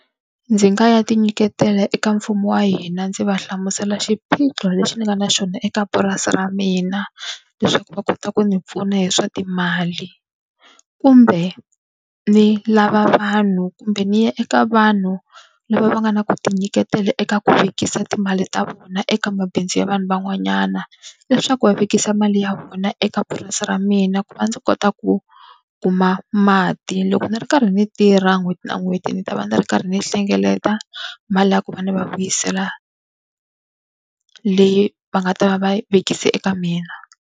Ndzi nga ya tinyiketela eka mfumo wa hina ndzi va hlamusela xiphiqo lexi nga na xona eka purasi ra mina, leswaku va kota ku ndzi pfuna hi swa timali. Kumbe ni lava vanhu kumbe ni ya eka vanhu lava va nga na ku tinyiketela eka ku vekisa timali ta vona eka mabindzu ya vanhu van'wanyana, leswaku va vekisa mali ya vona eka purasi ra mina ku va ndzi ku kota ku kuma mati. Loko ni ri karhi ni tirha n'hweti na n'hweti ni ta va ndzi ri karhi ni hlengeleta, mali liya ku va ni va vuyisela leyi va nga ta va va vekise eka mina.